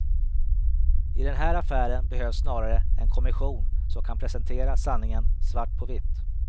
I den här affären behövs snarare en kommission som kan presentera sanningen, svart på vitt.